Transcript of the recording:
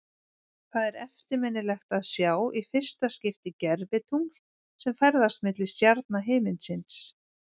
Það er eftirminnilegt að sjá í fyrsta skipti gervitungl sem ferðast milli stjarna himinsins.